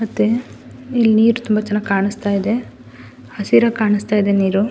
ಮತ್ತೆ ಇಲ್ಲಿ ನೀರು ತುಂಬ ಚೆನ್ನಾಗಿ ಕಾಣಿಸ್ತಾ ಇದೆ ಹಸಿರಾಗಿ ಕಾಣಿಸ್ತಾ ಇದೆ ನೀರು .